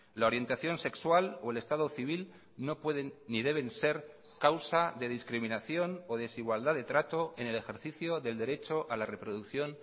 la orientación sexual o el estado civil no pueden ni deben ser causa de discriminación o desigualdad de trato en el ejercicio del derecho a la reproducción